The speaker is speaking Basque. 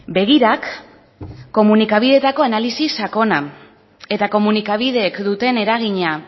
begirak komunikabidetako analisi sakona eta komunikabideek duten eragina